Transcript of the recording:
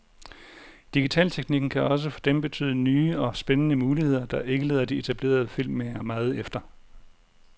Digitalteknikken kan også for dem betyde nye og spændende muligheder, der ikke lader de etablerede filmmagere meget efter.